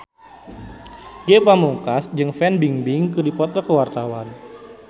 Ge Pamungkas jeung Fan Bingbing keur dipoto ku wartawan